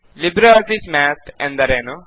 Libre Office Math ಎಂದರೆ ಏನು